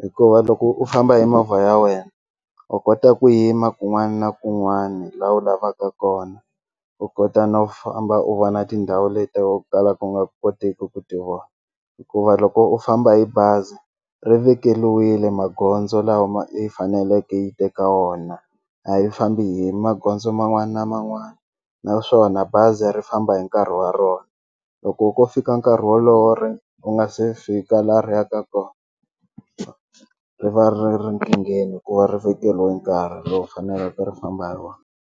hikuva loko u famba hi movha ya wena u kota ku yima kun'wani na kun'wani la u lavaka kona u kota no famba u vona tindhawu leto tala ku nga kotiki ku ti vona hikuva loko u famba hi bazi ri vekeliwile magondzo lama yi faneleke yi teka wona a yi fambi hi magondzo man'wana na man'wana naswona bazi ri famba hi nkarhi wa rona loko ku fika nkarhi wolowo ri u nga se fika la ri ya ka kona ri va ri ri nkingheni hi ku va ri vekeliwe nkarhi lowu faneleke ri famba hi wona.